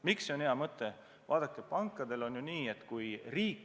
Miks see on hea mõte, kui riik kedagi käendab?